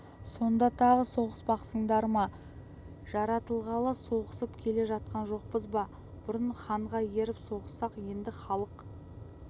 сонда тағы соғыспақсыңдар ма жаратылғалы соғысып келе жатқан жоқпыз ба бұрын ханға еріп соғыссақ енді халық